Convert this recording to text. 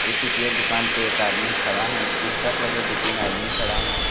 उ टीकिया के दुकान पे एक आदमी खड़ा हैन। रिक्शा के लगे दू तीन आदमी खड़ा हैन।